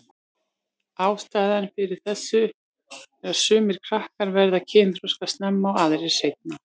Ástæðan fyrir þessu er að sumir krakkar verða kynþroska snemma og aðrir seinna.